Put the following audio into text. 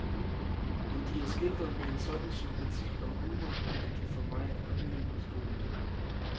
Men de er skildret med en sådan sympati og humor, at de for mig er uimodståelige.